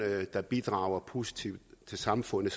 der bidrager positivt til samfundet